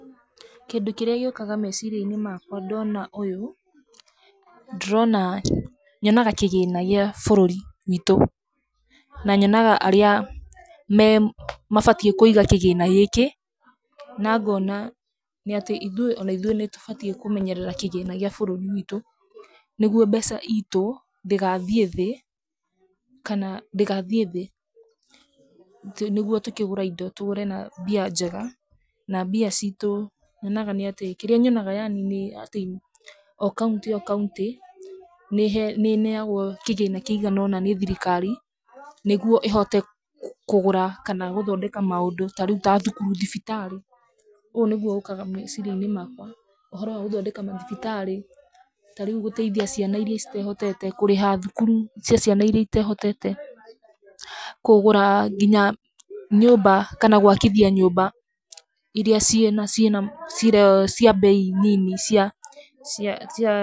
Kĩndũ kĩrĩa gĩũkaga meciria-inĩ makwa ndona ũyũ, ndĩrona, nyonaga kĩgina kĩa bũrũri witũ na nyonaga arĩa mabatiĩ kũiga kĩgĩna gĩkĩ. Na ngoona nĩ atĩ ithuĩ o na ithuĩ nĩ tũbatiĩ kũmenyerera kĩgĩna gĩa bũrũri witũ nĩguo mbeca itũ ndĩgathiĩ thĩ kana ndĩgathiĩ thĩ. Nĩguo tũkĩgũra indo, tũgũre na mbia njega na mbia citũ nyonaga nĩ atĩ, kĩrĩa nyonaga yani nĩ atĩ o kaũntĩ o kaũntĩ nĩ ĩneagwo kĩgĩna kĩigana ũna nĩ thirikari nĩguo ĩhote kũgũra kana kũthondeka maũndũ ta rĩu ta thukuru, thibitarĩ. Ũũ nĩguo ũkaga meciria-inĩ makwa. Ũhoro wa gũthondeka mathibitarĩ , ta rĩu gũteithia ciana iria citehotete, kũrĩha thukuru cia ciana iria itehotete, kũgũra nginya nyũmba kana gwakithia nyũmba iria ciĩna ciĩna cia mbei nini cia cia cia-